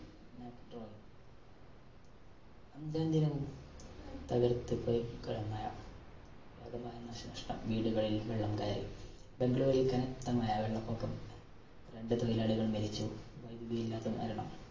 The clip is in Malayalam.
അഞ്ചാം ദിനവും തകര്‍ത്ത് മഴ. വ്യാപകമായ നാശനഷ്ട്ടം വീടുകളില്‍ വെള്ളം കയറി. ബംഗ്ലൂരില്‍ കനത്ത മഴ, വെള്ളപ്പൊക്കം രണ്ടു തൊഴിലാളികള്‍ മരിച്ചു വൈദ്യുതി ഇല്ലാത്ത മരണം.